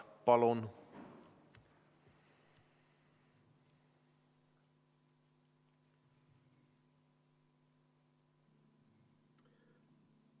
Palun!